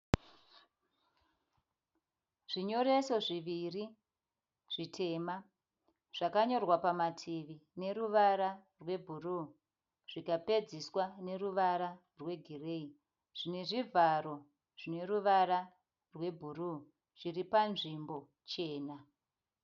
Zvinyoreso zviviri zvitema. Zvakanyorwa pamativi neruvara rwebhuruu zvikapedzeswa neruvara rwegireyi. Zvine zvivharo zvine ruvara rwebhuruu zviri panzvimbo chena.